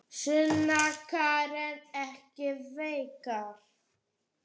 Sunna Karen: Ekki veikar?